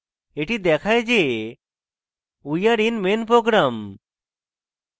এটি দেখায় যে we are in main program